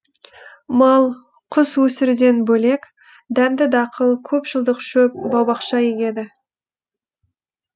мал құс өсіруден бөлек дәнді дақыл көп жылдық шөп бау бақша егеді